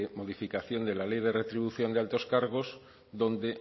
modificación de la ley de retribución del altos cargos donde